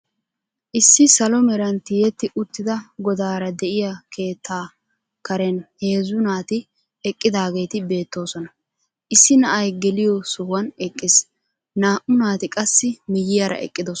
Issi salo meraan tiyetti uttida godaara de'iyaa keettaa karen heezzu naati eqqidaageeti beettoosona. Issi na'ay geliyo sohuwaan eqqiis. naa"u naati qaasi miyiyaara eqqidoosona.